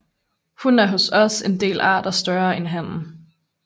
Hunnen er hos en del arter større end hannen